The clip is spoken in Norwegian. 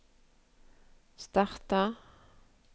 starta